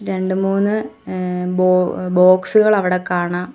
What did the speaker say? രണ്ടുമൂന്ന് ഏഹ് ബോ ബോക്സുകൾ അവടെ കാണാം.